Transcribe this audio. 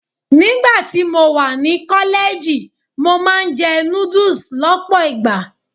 Nígbà tí mo wà ní kọ́lẹ́ẹ̀jì, mo máa ń jẹ noodles lọ́pọ̀ ìgbà.